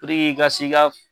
puruk'i ka s'i ka